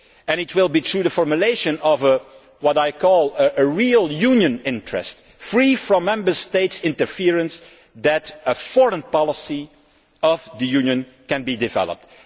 It will be through the formulation of what I call a real Union interest', free from Member State interference, that a foreign policy of the Union can be developed.